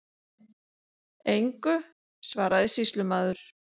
Engu, svaraði sýslumaður.